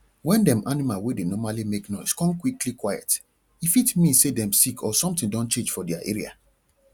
wen dem animal wey dey normally make noise kon quickly quiet e fit mean say dem sick or something don change for their area